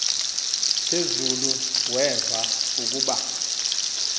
phezulu weva ukuba